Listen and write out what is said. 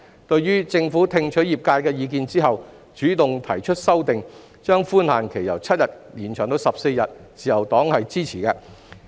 對於政府聽取業界意見後，主動提出修訂，把寬限期由7天延長至14天，自由黨是支持的。